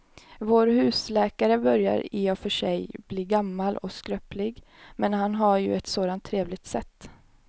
Vår husläkare börjar i och för sig bli gammal och skröplig, men han har ju ett sådant trevligt sätt!